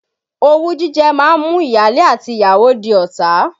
Owú jíjẹ máa ń mú ìyáálé àti ìyàwó di ọ̀tá.